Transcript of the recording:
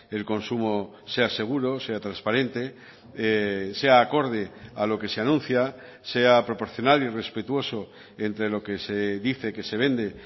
el consumo sea seguro sea transparente sea acorde a lo que se anuncia sea proporcional y respetuoso entre lo que se dice que se vende